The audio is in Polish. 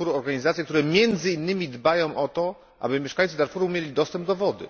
organizacje, które między innymi dbają o to, aby mieszkańcy Darfuru mieli dostęp do wody.